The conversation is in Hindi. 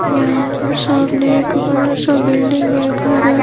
यहां पर सामने एक बड़ा सा बिल्डिंग है घर है।